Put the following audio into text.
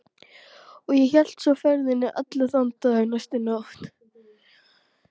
Og hélt svo ferðinni allan þann dag og næstu nótt.